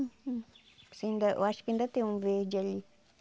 Assim ainda eu acho que ainda tem um verde ali.